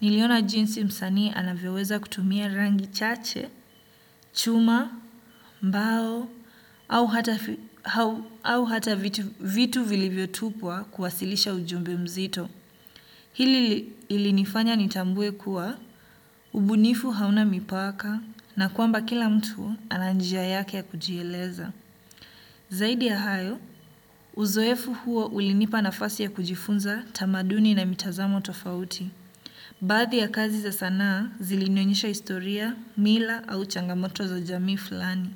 Niliona jinsi msanii anavyoweza kutumia rangi chache, chuma, mbao, au hata vitu vilivyotupwa kuwasilisha ujumbe mzito. Hili ilinifanya nitambue kuwa, ubunifu hauna mipaka na kwamba kila mtu ana njia yake ya kujieleza. Zaidi ya hayo, uzoefu huo ulinipa na fasi ya kujifunza tamaduni na mitazamo tofauti. Baadhi ya kazi za sanaa zilinionyesha historia, mila au changamoto za jamii fulani.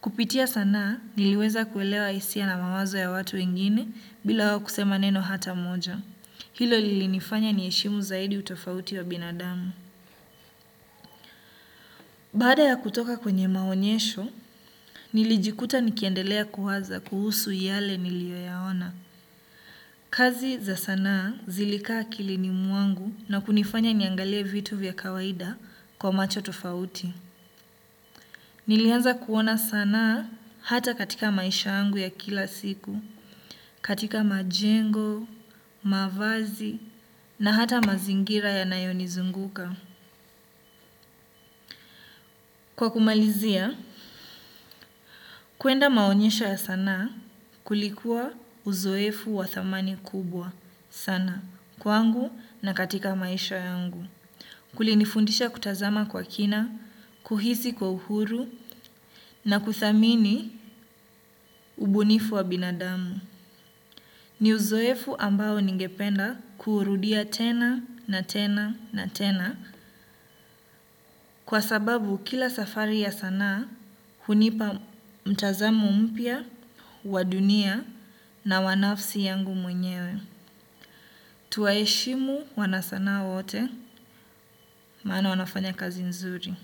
Kupitia sanaa niliweza kuelewa hisia na mawazo ya watu wengine bila wao kusema neno hata moja. Hilo lilinifanya niheshimu zaidi utofauti wa binadamu. Baada ya kutoka kwenye maonyesho, nilijikuta nikiendelea kuwaza kuhusu yale niliyoyaona. Kazi za sanaa zilikaa akilini mwangu na kunifanya niangalie vitu vya kawaida kwa macho tufauti. Nilianza kuona sanaa hata katika maisha yangu ya kila siku, katika majengo, mavazi na hata mazingira yanayonizunguka. Kwa kumalizia, kuenda maonyesho ya sanaa kulikuwa uzoefu wa thamani kubwa sana kwangu na katika maisha yangu. Kulinifundisha kutazama kwa kina, kuhisi kwa uhuru na kuthamini ubunifu wa binadamu. Ni uzoefu ambao ningependa kuurudia tena na tena na tena kwa sababu kila safari ya sanaa hunipa mtazamo mpya, wa dunia na wa nafsi yangu mwenyewe. Tuwaeshimu wanasanaa wote maana wanafanya kazi nzuri.